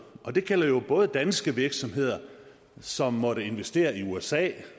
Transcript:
og det gælder jo både danske virksomheder som måtte investere i usa